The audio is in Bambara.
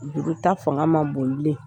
Juru ta fanga man bon bilen.